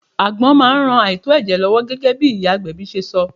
Àgbon máa ń ran àìtó ẹ̀jẹ̀ lọ́wọ́ gẹ́gẹ́ bí iyagbebi ṣe sọ.